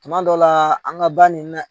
Tuma dɔ la an ka ban nin na